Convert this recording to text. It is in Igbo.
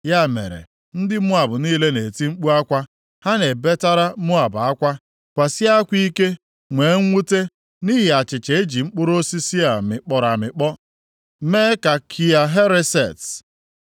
Ya mere, ndị Moab niile na-eti mkpu akwa, ha na-ebetara Moab akwa. Kwasie akwa ike, nwee mwute, nʼihi achịcha e ji mkpụrụ osisi a mịkpọrọ amịkpọ mee nke Kia Hereset.